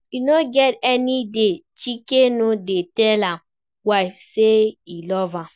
E no get any day Chike no dey tell im wife say e love am